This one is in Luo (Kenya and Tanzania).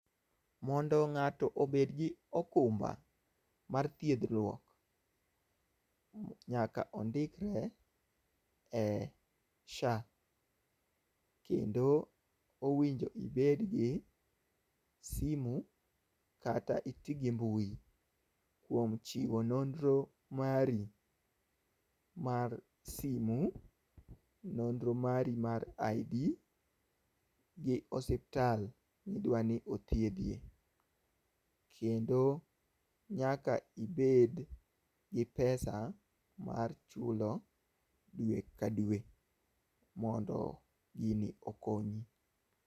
Mondo ng'ato obed gi okumba mar thiedhruok, nyaka ondikre e SHA kendo owinjo ibed gi simu kata iti gi mbui kuom chiwo nonro mari mar simu, nonro mari mar ID gi osiptal midwa ni othiedhie. Kendo nyaka ibed gi pesa mar chulo dwe ka dwe mondo gini okonyi.